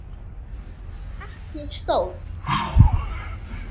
Ekki stór.